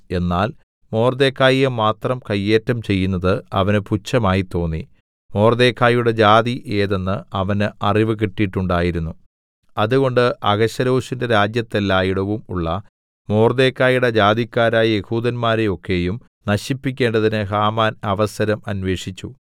എന്നാൽ മൊർദെഖായിയെ മാത്രം കയ്യേറ്റം ചെയ്യുന്നത് അവന് പുച്ഛമായി തോന്നി മൊർദെഖായിയുടെ ജാതി ഏതെന്ന് അവന് അറിവ് കിട്ടീട്ടുണ്ടായിരുന്നു അതുകൊണ്ട് അഹശ്വേരോശിന്റെ രാജ്യത്തെല്ലാടവും ഉള്ള മൊർദെഖായിയുടെ ജാതിക്കാരായ യെഹൂദന്മാരെയൊക്കെയും നശിപ്പിക്കേണ്ടതിന് ഹാമാൻ അവസരം അന്വേഷിച്ചു